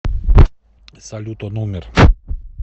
салют он умер